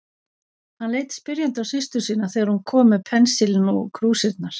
Hann leit spyrjandi á systur sína þegar hún kom með pensilinn og krúsirnar.